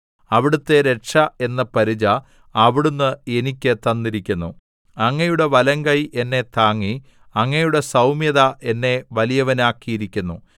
അവിടുത്തെ രക്ഷ എന്ന പരിച അവിടുന്ന് എനിക്ക് തന്നിരിക്കുന്നു അങ്ങയുടെ വലങ്കൈ എന്നെ താങ്ങി അങ്ങയുടെ സൗമ്യത എന്നെ വലിയവനാക്കിയിരിക്കുന്നു